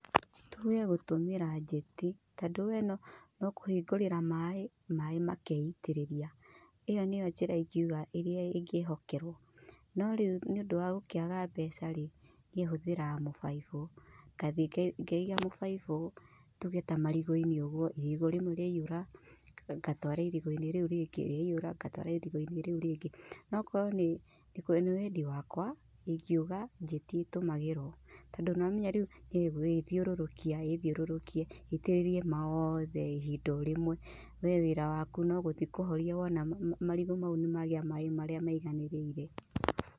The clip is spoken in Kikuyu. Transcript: Tuge gũtũmĩra njeti tondũ we no kũhingũrĩra maĩ, maĩ makeitĩrĩria. ĩyo nĩyo njĩra ĩra ingiuga ĩngĩhokerwo. No rĩu nĩ ũndũ wa gũkĩaga mbeca-rĩ, niĩ hũthagĩra mũbaibu, ngathiĩ ngaiga mũbaibũ tuge ta marigũ-inĩ ũguo, irigũ rĩmwe rĩaihũra ngatwara irigũ-inĩ rĩu rĩngĩ rĩaihũra ngatwara irigũ-inĩ rĩu rĩngĩ. No okorwo nĩ wendi wakwa ingiuga njeti ĩtũmagĩrwo, tondũ nĩwamenya rĩu ĩgũĩthiũrũrũkia ĩthiũrũrũkie ĩitĩrĩrie mothe ihinda o rĩmwe, we wĩra waku nogũthiĩ kũhoria wona marigũ mau nĩmagĩa maĩ marĩa maiganĩrĩire.